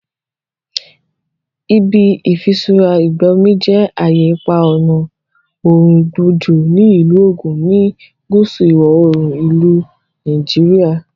Ibi Ifisura Igbo Omo je aye ipa ọna oorun igbo ojo ni Ilu Ogun, ni apa guusu iwọ-oorun ilu Nigeria.